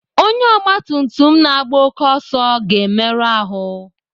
Onye ọgbatumtum na-agba oké ọsọ ga-emerụ ahụ.